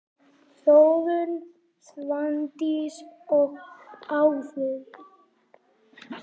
Þórunn, Svandís og Auður.